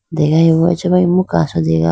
degayi bo acha ma imu kaso dega.